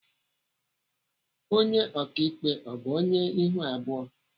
Onye ọkaikpe ọ bụ onye ihu abụọ?